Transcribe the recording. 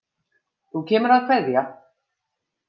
Þú kemur að kveðja.